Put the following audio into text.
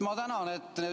Ma tänan!